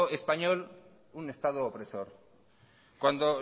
español un estado opresor cuando